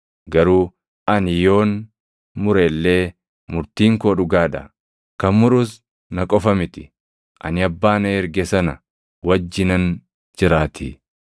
Garuu ani yoon mure illee murtiin koo dhugaa dha; kan murus na qofa miti. Ani Abbaa na erge sana wajjinan jiraatii.